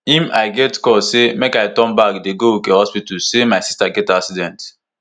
im i get call say make i turn back dey go uke hospital say my sister get accident